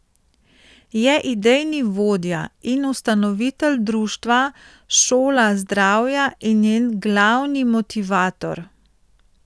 Je idejni vodja in ustanovitelj društva Šola zdravja in njen glavni motivator.